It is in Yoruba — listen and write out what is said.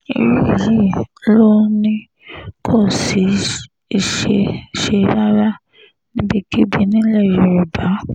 irú èyí ló ní kò ní í ṣeé ṣe rárá níbikíbi nílẹ̀ yorùbá